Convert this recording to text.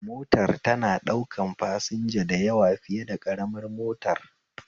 Motar tana ɗaukan fasanja da yawa fiye da ƙaramar motar